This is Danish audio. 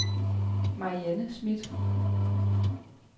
Marianne Smidt